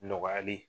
Nɔgɔyali